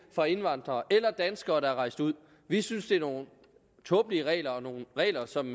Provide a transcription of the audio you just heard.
fra indvandrere eller danskere der er rejst ud vi synes det er nogle tåbelige regler og det er nogle regler som